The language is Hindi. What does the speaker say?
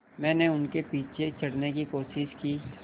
मैंने उनके पीछे चढ़ने की कोशिश की